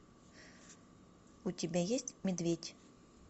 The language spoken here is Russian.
у тебя есть медведь